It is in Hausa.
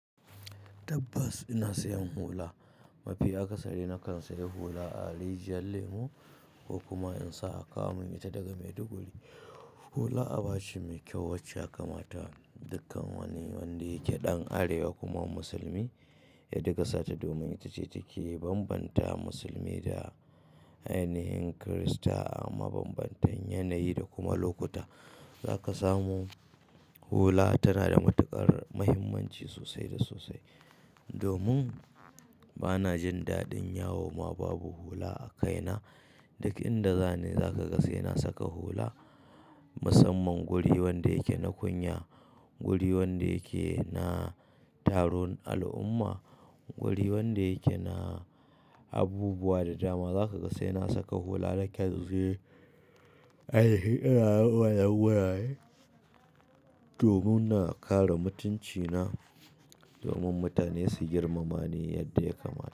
Tabbas ina sayan hula. Mafi akasari na kan sayi hula a rijiyar lemu ko kuma in sa a kawo mun ita daga Maiduguri. Hula aba ce mai kyau wacce yaka mata dukkan wani wanda yake ɗan arewa kuma musulmi, ya dinga sata domin ita ce take bambanta musulmi da ainihin Kirista. A mabambantan yanayi da kuma lokuta za ka samu hula tana da matuƙar muhimmanci sosai da sosai. Domin bana jin daɗin yawo ma babu hula a kaina. Duk inda zani za ka ga sai na saka hula. Musamman guri wanda yake na kunya, guri wanda yake na taron al'umma, guri wanda yake na abubuwa da dama za ka ga sai na saka hula nakan je. Ainihi ina rawar waraye domin na kare mutuncina, domin mutane su girmama ni yadda ya kamata.